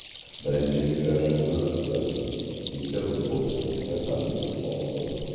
Birinchi uchrashuvni o‘tkazdik, bitta futbolchimiz kasal bo‘lib qoldi.